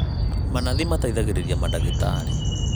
Manathi mateithagĩrĩria madagĩtarĩ